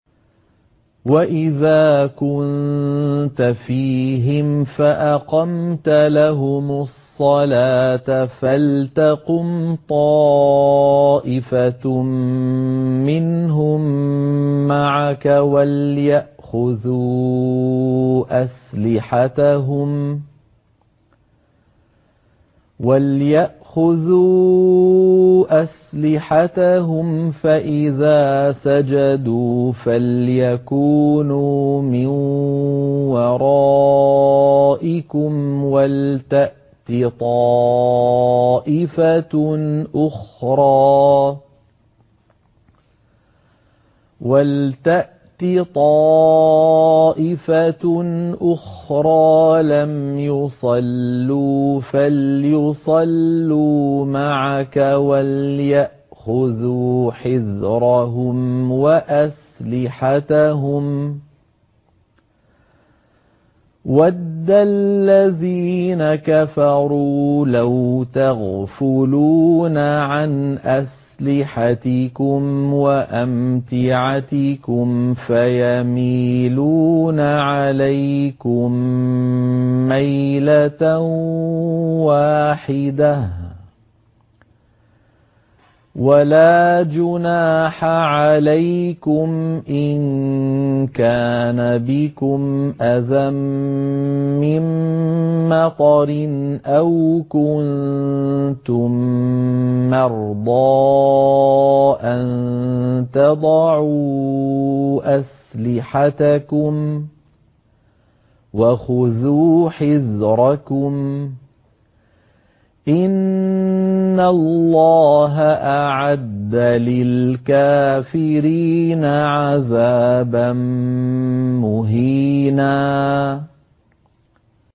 وَإِذَا كُنتَ فِيهِمْ فَأَقَمْتَ لَهُمُ الصَّلَاةَ فَلْتَقُمْ طَائِفَةٌ مِّنْهُم مَّعَكَ وَلْيَأْخُذُوا أَسْلِحَتَهُمْ فَإِذَا سَجَدُوا فَلْيَكُونُوا مِن وَرَائِكُمْ وَلْتَأْتِ طَائِفَةٌ أُخْرَىٰ لَمْ يُصَلُّوا فَلْيُصَلُّوا مَعَكَ وَلْيَأْخُذُوا حِذْرَهُمْ وَأَسْلِحَتَهُمْ ۗ وَدَّ الَّذِينَ كَفَرُوا لَوْ تَغْفُلُونَ عَنْ أَسْلِحَتِكُمْ وَأَمْتِعَتِكُمْ فَيَمِيلُونَ عَلَيْكُم مَّيْلَةً وَاحِدَةً ۚ وَلَا جُنَاحَ عَلَيْكُمْ إِن كَانَ بِكُمْ أَذًى مِّن مَّطَرٍ أَوْ كُنتُم مَّرْضَىٰ أَن تَضَعُوا أَسْلِحَتَكُمْ ۖ وَخُذُوا حِذْرَكُمْ ۗ إِنَّ اللَّهَ أَعَدَّ لِلْكَافِرِينَ عَذَابًا مُّهِينًا